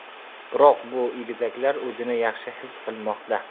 Biroq bu egizaklar o‘zini yaxshi his qilmoqda.